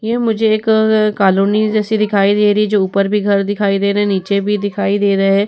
यह मुझे एक कलोनी जैसी दिखाई दे रही है जो ऊपर भी घर दिखाई दे रहे है नीचे भी दिखाई दे रहे है।